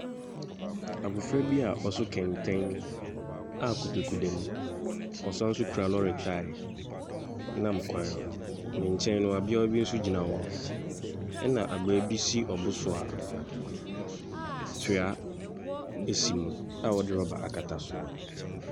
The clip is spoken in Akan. Abofra bi a ɔso kɛntɛn a kotoku dem. Ɔsan nso kura lɔre tae nam kwan no ho. Ne nkyɛn naa abaayewa bi nso gyina hɔ. Ɛna abaa bi si ɔbo so a toa esi mu a wɔde rɔba akata so.